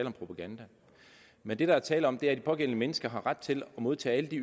om propaganda men det der er tale om er at de pågældende mennesker har ret til at modtage alle de